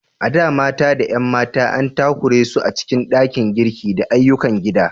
A da, mata da 'yan mata an takura su a cikin ɗakin girki da ayyukan gida.